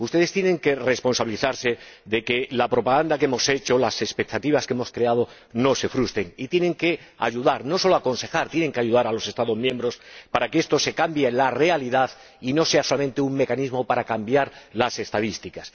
Ustedes tienen que responsabilizarse de que la propaganda que hemos hecho, las expectativas que hemos creado, no se frustren, y tienen que ayudar, no solo aconsejar, a los Estados miembros para que estos cambien la realidad y no sea solamente un mecanismo para cambiar las estadísticas.